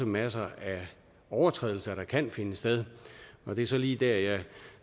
masser af overtrædelser der kan finde sted og det er så lige der jeg